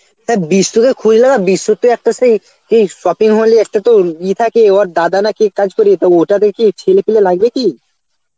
তা বিষ্ণুরে খোঁজ লাগা বিষ্ণুর তো একটা সেই কি shopping mall এ একটা তো ইয়ে থাকে উয়ার দাদা না কে কাজ করে, তা ওটাকে কি ছেলেপিলে লাগবে কি?